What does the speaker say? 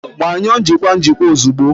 Gbanyụọ njikwa njikwa ozugbo!